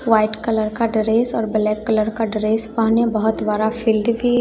white colour का dress और black colour का ड्रेस पहने बहुत बड़ा फील्ड भी--